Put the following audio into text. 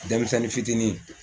Denmisɛnnin ni fitinin